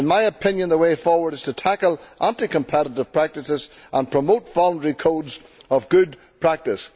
In my opinion, the way forward is to tackle anti competitive practices and promote voluntary codes of good practice.